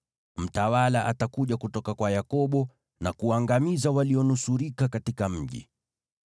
Mtawala atakuja kutoka kwa Yakobo na kuangamiza walionusurika katika mji.”